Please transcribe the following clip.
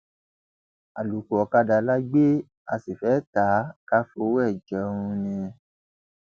àlòkù ọkadà la gbé a sí fee tá a kà fọwọ rẹ jẹun ni